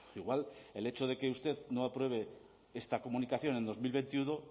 igual el hecho de que usted no apruebe esta comunicación en dos mil veintiuno